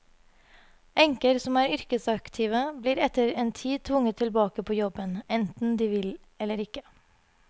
Enker som er yrkesaktive, blir etter en tid tvunget tilbake på jobben, enten de vil eller ikke.